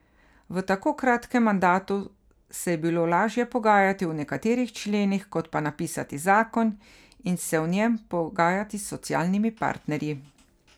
V tako kratkem mandatu se je bilo lažje pogajati o nekaterih členih, kot pa napisati zakon in se o njem pogajati s socialnimi partnerji.